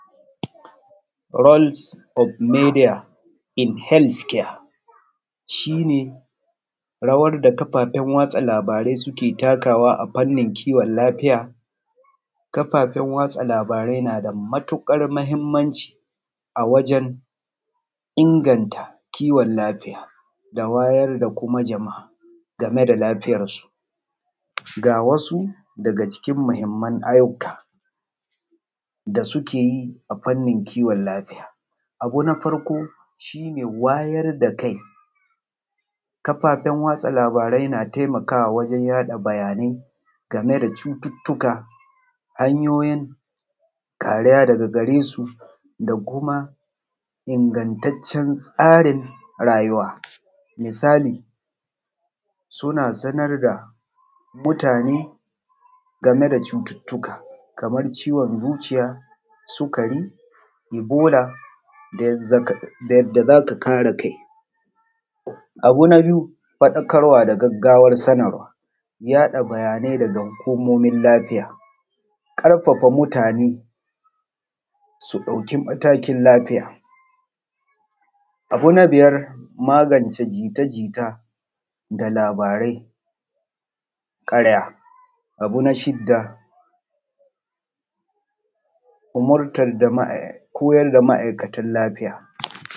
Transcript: Rols of midiya in helis kiya shi ne rawan da kafafen sada labarai suke takawa a fannin kiwon lafiya, kafafan wasa labarai na da matuƙar mahinmanci a wajen inganta kiwon lafiya da wayar da kuma jama’a game da lafiyar su. Ga wasu game daga cikin mahinman abubbuwa da suke yi: a fannin kiwon lafiya abu na farko shi ne wayar da kai kafafen wasa labarai na taimakawa wajen watsa labarai game da cututtuka, hanyoyin kariya daga gare su da kuma ingattacen tsarin rayuwa, misali suna sanar da mutane game da cututtuka kamar ciwon zuciya, sukari, ibola da yadda za ka kare kai. Abu na biyu faɗakarwa da gaggawar sanarwa yaɗa labarai daga hukumomin lafiya, ƙarfafa mutane su ɗauki matakin lafiya, abu na biyar magance jita-jita da labarai na ƙarya, abu na shidda umurtan jama’a, koyar da ma’aikatan lafiya.